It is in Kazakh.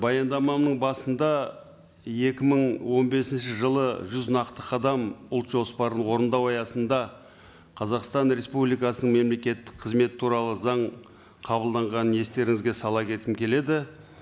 баяндаманың басында екі мың он бесінші жылы жүз нақты қадам ұлт жоспарын орындау аясында қазақстан республикасының мемлекеттік қызмет туралы заң қабылданғанын естеріңізге сала кеткім келеді